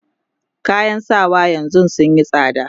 kayan sawa yanzun sunyi tsada